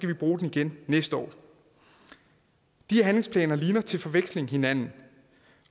vi bruge den igen næste år de handlingsplaner ligner til forveksling hinanden